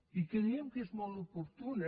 i creiem que és molt oportuna